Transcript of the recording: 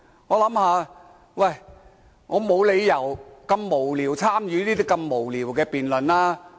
我想沒理由如此無聊，參與那麼無聊的辯論。